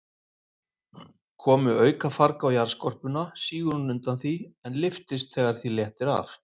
Komi aukafarg á jarðskorpuna, sígur hún undan því, en lyftist þegar því léttir af.